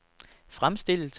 fremstillet